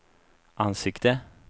ansikte